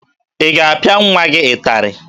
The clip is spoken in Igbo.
Ị ga-apịa nwa gị ịtarị?